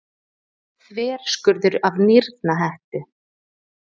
Þverskurður af nýrnahettu.